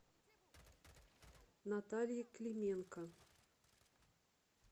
наталье клименко